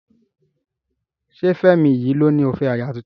Ṣé Fẹ́mi yìí ló ní ó fẹ́ aya tuntun?